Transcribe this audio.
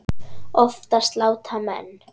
Oftast láta menn